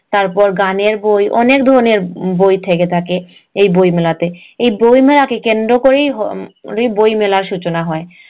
তারপর গানের বই অনেক ধরণের বই থেকে থাকে এই বই মেলাতে এই বই মেলা কে কেন্দ্র করেই হম বই মেলার সূচনা হয়